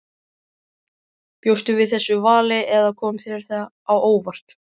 Bjóstu við þessu vali eða kom þetta þér á óvart?